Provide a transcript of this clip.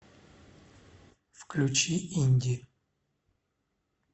включи инди